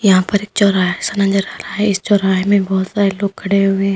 यहां पे एक चौराहा जैसा नजर आ रहा है इस चौराहे में बहोत सारे लोग खड़े हुए है।